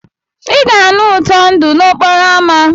Ị ga-anụ ụtọ ndụ n'okporo ámá.